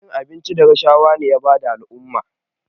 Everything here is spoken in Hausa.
Cin hanci da rashawa ne ya bata al'umma